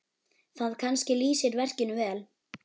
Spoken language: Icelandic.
Það kannski lýsir verkinu vel.